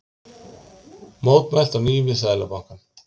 Mótmælt á ný við Seðlabankann